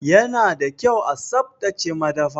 Ya na da kyau a tsaftace madafa.